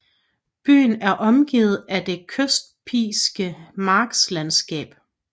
Byen er omgivet af det kysttypiske marsklandsskab